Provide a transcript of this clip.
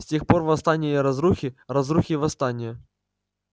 с тех пор восстания и разрухи разрухи и восстания